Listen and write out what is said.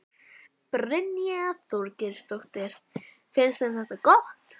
Brynja Þorgeirsdóttir: Finnst þeim þetta gott?